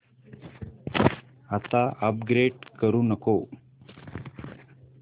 आता अपग्रेड करू नको